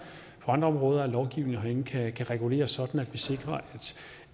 områder af lovgivningen herinde kan regulere sådan at vi sikrer